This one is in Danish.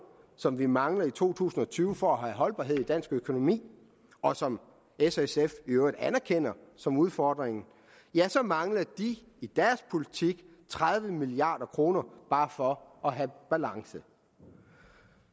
som vi mangler i to tusind og tyve for at have holdbarhed i dansk økonomi og som s og sf i øvrigt anerkender som udfordring ja så mangler de i deres politik tredive milliard kroner bare for at have balance